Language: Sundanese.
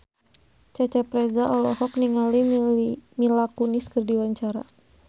Cecep Reza olohok ningali Mila Kunis keur diwawancara